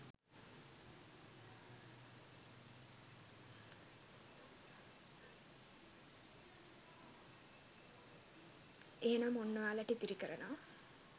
එහෙනම් ඔන්න ඔයාලට ඉතිරි කරනවා